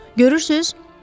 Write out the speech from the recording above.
Görürsüz?